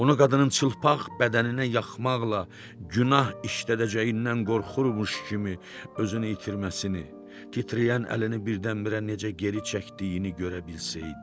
Onu qadının çılpaq bədəninə yaxmaqla günah işlədəcəyindən qorxurmuş kimi özünü itirməsini, titrəyən əlini birdən-birə necə geri çəkdiyini görə bilsəydi.